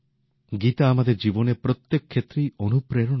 গীতা আমাদের জীবনের প্রত্যেক ক্ষেত্রেই অনুপ্রেরণা দেয়